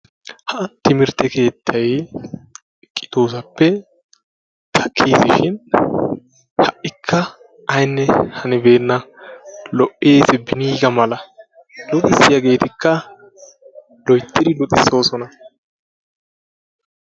Ha timirtte keettaay kexoosappe takkiis shin ha'ikka aynne hanibeena. Li'iis beniga mala luxissiyaagetikka loyttidi luxisoosona.